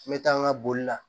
N bɛ taa n ka boli la